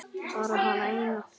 Bara hana eina.